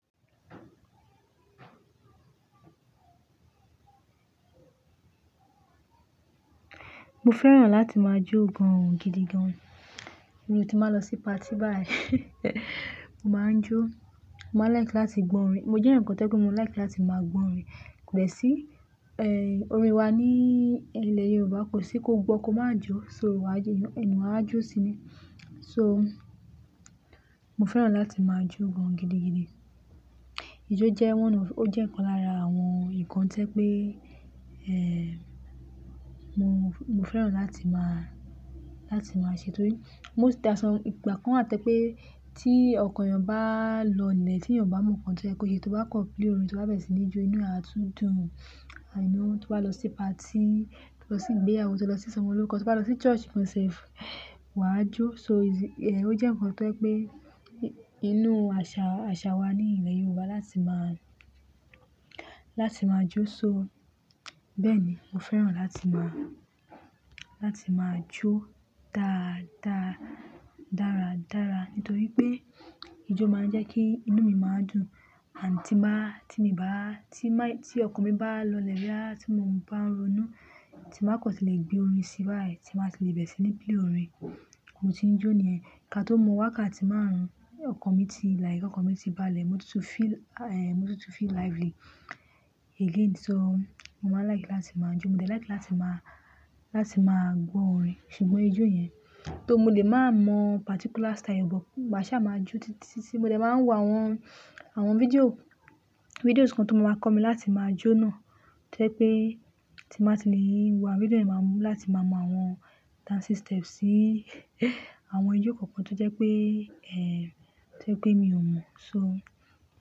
Mo fẹ́ràn láti máa jó gan-an gidigan. Bí mo ti máa lọ sí party báyìí, mo máa ń jó. Mo máa ń like láti gbọ́ orin. Mo jẹ́ ǹkan tó pé mo like láti máa gbọ́ orin kode sí, ẹ́, orin wa ní ilẹ̀ Yorùbá kò sí kó gbó, kó má jó, so ìwà ìjẹnu, eeyan a jó síi ni. So mo fẹ́ràn láti máa jó gan-an gidigidi. Ijó jẹ́ one of-- ó jẹ́ ǹkan lára àwọn ǹkan tí ẹ pé, ẹ́, mo, mo fẹ́ràn láti máa, láti máa ṣe torí mo ti asan- ipa kan àtẹ pé tí ọkàn ẹyàn bá lọlẹ̀, tí ẹyàn bá mọ ǹkan tí ẹ kọ se, tó bá kọ play orin tí ó bá bẹ̀rẹ̀ sí ní jó, inú e a tún dùn. Amo tó bá lọ sí party, tó bá lọ sí ìgbéyàwó, tó lọ sí isomọloruko, tó bá lọ sí church gan sef, wà á jó. So e si-- ẹ́, ó jẹ́ ǹkan tó ẹ pé inú àṣà, àṣà wa ní ilẹ̀ Yorùbá láti máa, láti máa jó. So bẹ́ẹ̀ ni, mo fẹ́ràn láti máa, láti máa jó dáa, dáa, dáradára nítorí pé ijó máa ń jẹ́ kí inú mi máa dùn. And tí bá, tí mi bá, tí máì-- tí ọkàn mi bá lọlẹ̀ báyìí, tí mo bá ń ronú, tí màá kò tilẹ̀ gbé orin síbàá ẹ, tí màá tilẹ̀ bẹ̀rẹ̀ sí ní pílè orin, mo ti ń jó ní ẹ̀. Ká tó mọ wá ká ti máarùn. Ọkàn mi ti like, ọkàn mi ti bá lẹ̀, mo ti tún feel, ẹ́, mo ti tún feel lively again. So mo máa ń like láti máa jó. Mo de like láti máa, láti máa gbọ́ orin ṣùgbọ́n ijó yẹn, tó mo lè máa mọ particular style bọ̀, màá ṣa máa jó títí tí mo de máa ń wo àwọn, àwọn fídíò, fídíò ǹkan tó máa máa kọ mi láti máa jó náà tó jẹ́ pé tí màá ti le wò àwọn fídíò, èmi máa mú láti máa mọ àwọn dancing steps sí àwọn ijó kọ̀ọ̀kan tó jẹ́ pé, ẹ́, tó jẹ́ pé mi ò mọ̀. So.